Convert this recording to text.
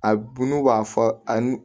A bu n'u b'a fɔ a nu